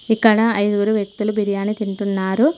ఇక్కడ ఐదుగురు వ్యక్తులు బిర్యానీ తింటున్నారు.